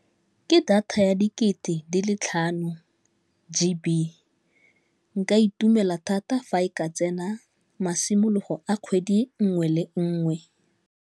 Ke data ya dikete di le tlhano g b nka itumela thata fa e ka tsena masimo kalogo a kgwedi nngwe le nngwe.